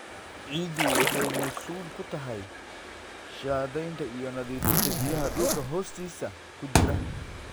Ciiddu waxay mas'uul ka tahay shaandhaynta iyo nadiifinta biyaha dhulka hoostiisa ku jira.